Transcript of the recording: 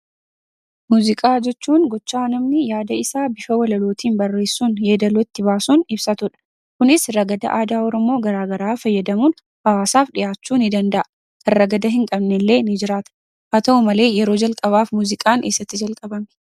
Muuziqaa jechuun gochaa namni yaada isaa bifa walalootiin barressuun yeedaloo itti baasuun ibsatuudha. Kunis ragada aadaa oromoo garaagaraa fayyadamuun hawaasaf dhiyaachu danda'a. Kan ragada hinqabnelle ni jiraata. Haa ta'u malee , yeroo jalqabaaf muuziqaan essatti jalqabame?